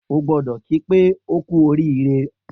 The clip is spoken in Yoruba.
O gbọdọ̀ ki pé oku orire.